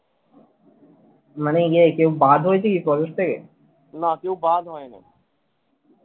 মানে ইয়ে কেও বাদ হয়েছে কি college থেকে